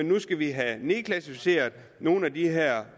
nu skal vi have nedklassificeret nogle af de her